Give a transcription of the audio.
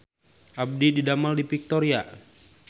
Abdi didamel di Victoria